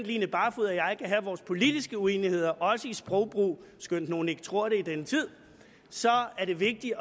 line barfod og jeg kan have vores politiske uenigheder også i sprogbrug skønt nogle ikke tror det i denne tid så er det vigtigt